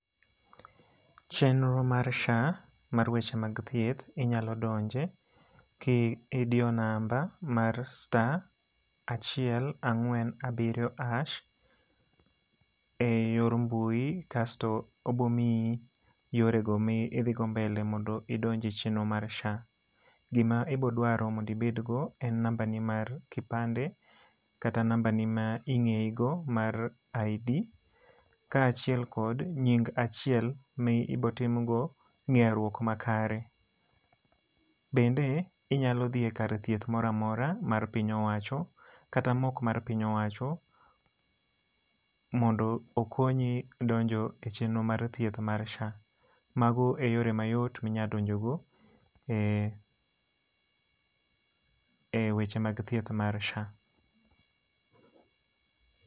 Chenro mar SHA mar weche mag thieth inyalo donje ki idiyo namba mar star achiel, ang'wen, abiriyo harsh, e yor mbui, kasto obomiyi yorego mi idhi go mbele mondo idonje chenro mar SHA. Gima ibodwaro mondo ibed go en namba ni mar kipande, kata namba ni ma ingéyi go ma ID. Kaachiel kod nying achiel ma ibotimgo ngéruok makare. Bende inyalo dhi e kar thieth moro amora mar piny owacho, kata ma ok mar piny owacho mondo okonyi donjo e chenro mar thieth mar SHA. Mago e yore mayot ma inyalo donjo go e e weche mag thier mar SHA.